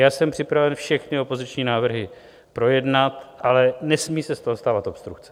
Já jsem připraven všechny opoziční návrhy projednat, ale nesmí se z toho stávat obstrukce.